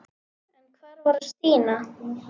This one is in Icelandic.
En hvar var Stína?